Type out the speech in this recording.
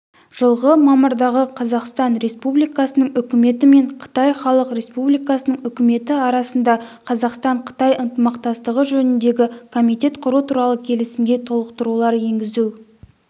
жылғы мамырдағы қазақстан республикасының үкіметі мен қытай халық республикасының үкіметі арасында қазақстан-қытай ынтымақтастығы жөніндегі комитет құру туралы келісімге толықтырулар енгізу